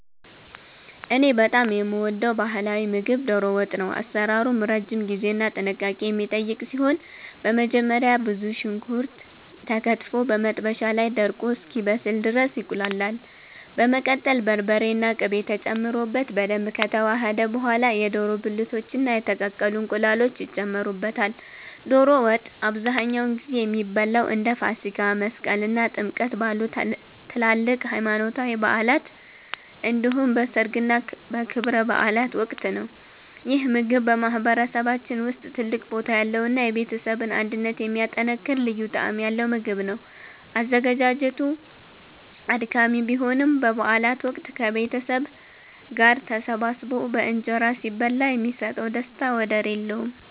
እኔ በጣም የምወደው ባህላዊ ምግብ 'ዶሮ ወጥ' ነው። አሰራሩም ረጅም ጊዜና ጥንቃቄ የሚጠይቅ ሲሆን፣ በመጀመሪያ ብዙ ሽንኩርት ተከትፎ በመጥበሻ ላይ ደርቆ እስኪበስል ድረስ ይቁላላል። በመቀጠል በርበሬና ቅቤ ተጨምሮበት በደንብ ከተዋሃደ በኋላ፣ የዶሮ ብልቶችና የተቀቀሉ እንቁላሎች ይጨመሩበታል። ዶሮ ወጥ አብዛኛውን ጊዜ የሚበላው እንደ ፋሲካ፣ መስቀል እና ጥምቀት ባሉ ትላልቅ ሃይማኖታዊ በዓላት እንዲሁም በሠርግና በክብረ በዓላት ወቅት ነው። ይህ ምግብ በማህበረሰባችን ውስጥ ትልቅ ቦታ ያለውና የቤተሰብን አንድነት የሚያጠናክር ልዩ ጣዕም ያለው ምግብ ነው። አዘገጃጀቱ አድካሚ ቢሆንም፣ በበዓላት ወቅት ከቤተሰብ ጋር ተሰባስቦ በእንጀራ ሲበላ የሚሰጠው ደስታ ወደር የለውም።